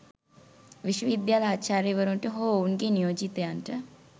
විශ්වවිද්‍යාල ආචාර්යවරුන්ට හෝ ඔවුන්ගේ නියෝජිතයින්ට